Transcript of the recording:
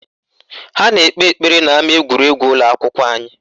Ha na-ekpe ekpere n'ama egwuregwu ụlọakwụkwọ anyị